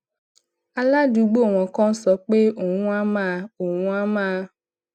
aládùúgbò wọn kan sọ pé òun á máa òun á máa